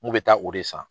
N kun bɛ taa o de san